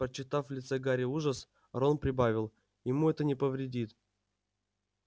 прочитав в лице гарри ужас рон прибавил ему это не повредит